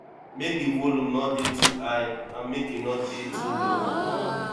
make di volume no dey too high and make e no dey too low